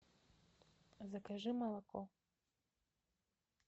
закажи молоко